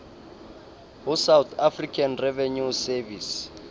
ho south african revenue service